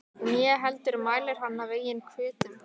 Né heldur mælir hann af eigin hvötum.